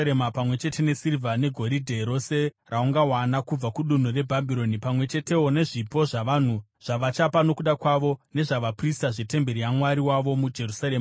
pamwe chete nesirivha negoridhe rose raungawana kubva kudunhu reBhabhironi, pamwe chetewo nezvipo zvavanhu zvavachapa nokuda kwavo nezvavaprista, zvetemberi yaMwari wavo muJerusarema.